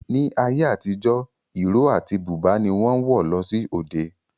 Ní ayé àtijọ́, ìró àti búbà ni wọ́n ń wọ̀ lọ sí òde